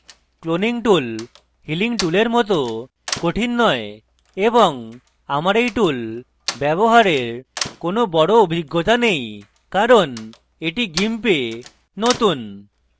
cloning tool healing টুলের মত কঠিন নয় এবং আমার এই tool ব্যবহারের কোনো বড় অভিজ্ঞতা নেই কারণ এটি gimp a নতুন